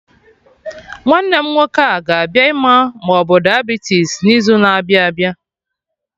Nwanne m nwoke a ga-abịa ịma ma obu Diabitis n'izu na-abịa abịa?